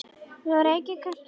Þú reykir kannski ekki?